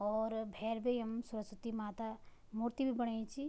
और भैर भी यमु सरस्वती माता मूर्ति भी बणाई च।